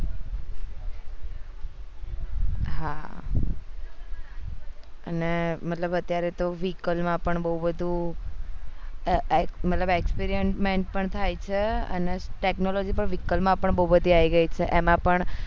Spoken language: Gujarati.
હા અને મતલબ અત્યારે vehicle માં બહુ બધું મતલબ experiment પણ થાય છે અને technology પણ vehicle માં પણ બહુ બધી આવી ગયી છે એમાં પણ